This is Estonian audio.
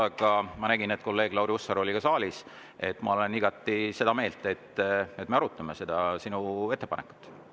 Ent ma nägin, et kolleeg Lauri Hussar oli saalis, ma olen igati seda meelt, et me arutame seda sinu ettepanekut.